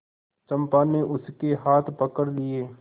चंपा ने उसके हाथ पकड़ लिए